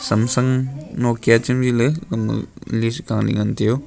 samsung nokia chemliley gama list galey ngan taiyo.